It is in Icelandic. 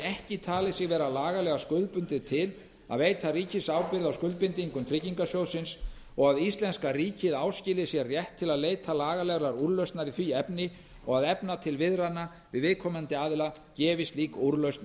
ekki talið sig vera lagalega skuldbundið til að veita ríkisábyrgð á skuldbindingum tryggingarsjóðsins og að íslenska ríkið áskilji sér rétt til að leita lagalegrar úrlausnar í því efni og að efna til viðræðna við viðkomandi aðila gefi slík úrlausn